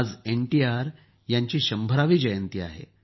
आज एनटीआर यांची शंभरावी जयंती आहे